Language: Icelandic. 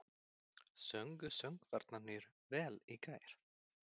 Sungu söngvararnir vel í gær?